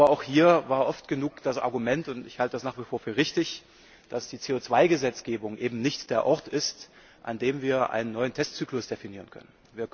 Aber auch hier war oft genug das Argument und ich halte das nach wie vor für richtig dass die CO 2 Gesetzgebung eben nicht der Ort ist, an dem wir einen neuen Testzyklus definieren können.